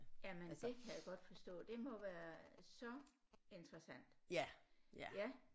Jamen det kan jeg godt forstå det må være så interessant ja